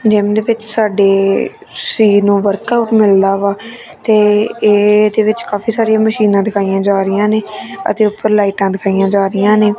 Gym ਵਿੱਚ ਸਾਡੇ ਸਰੀਰ ਨੂੰ ਵਰਕ ਆਊਟ ਮਿਲਦਾ ਹੈ ਇਹ ਦੇ ਵਿੱਚ ਕਾਫੀ ਸਾਰੀਆਂ ਮਸ਼ੀਨਾਂ ਦਿਖਾਈਆਂ ਜਾ ਰਹੀਆਂ ਨੇ ਅਤੇ ਉੱਪਰ ਲਾਈਟਾਂ ਦਿਖਾਈਆਂ ਜਾ ਰਹੀਆਂ ਨੇ।